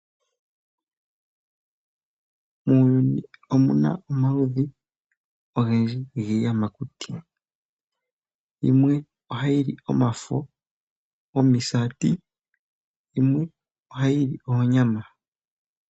Muuyuni omuna omaludhi ogendji giiyamakuti, yimwe oha yi li omafo gomisati noyimwe oha yi li oonyama.